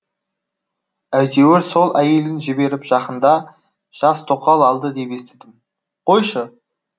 әйтеуір сол әйелін жіберіп жақында жас тоқал алды деп естідім қойшы